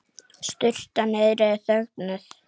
Sturtan niðri er þögnuð.